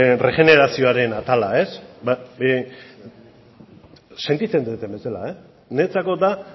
erregenerazioaren atala sentitzen deten bezala niretzako da